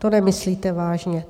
To nemyslíte vážně.